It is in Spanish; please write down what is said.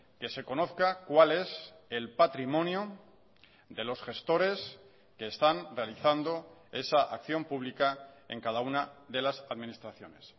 que se conozca cuál es el patrimonio de los gestores que están realizando esa acción pública en cada una de las administraciones